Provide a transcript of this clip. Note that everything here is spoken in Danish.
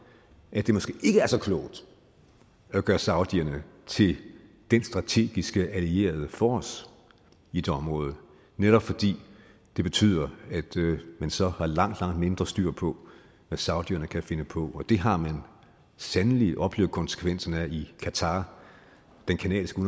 at det måske ikke er så klogt at gøre saudierne til den strategiske allierede for os i det område netop fordi det betyder at man så har langt langt mindre styr på hvad saudierne kan finde på og det har man sandelig oplevet konsekvenserne af i qatar den canadiske